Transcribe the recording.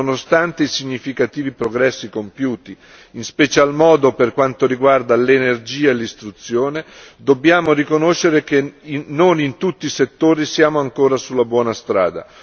Nonostante i significativi progressi compiuti, in special modo per quanto riguarda l'energia e l'istruzione, dobbiamo riconoscere che non in tutti i settori siamo ancora sulla buona strada.